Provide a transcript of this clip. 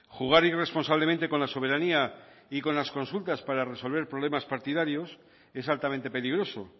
jugar irresponsablemente con la soberanía y con las consultas para resolver problemas partidarios es altamente peligroso